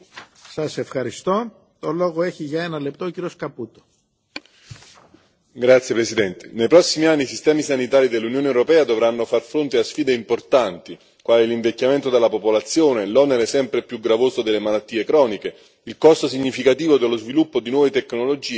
Signor Presidente, onorevoli colleghi, nei prossimi anni i sistemi sanitari dell'Unione europea dovranno far fronte a sfide importanti quali l'invecchiamento della popolazione, l'onere sempre più gravoso delle malattie croniche, il costo significativo dello sviluppo di nuove tecnologie, gli effetti della crisi economica sulla spesa sanitaria.